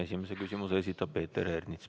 Esimese küsimuse esitab Peeter Ernits.